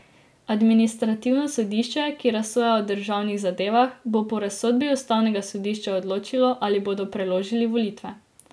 Administrativno sodišče, ki razsoja od državnih zadevah, bo po razsodbi ustavnega sodišča odločilo, ali bodo preložili volitve.